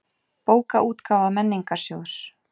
Bókaútgáfa Menningarsjóðs.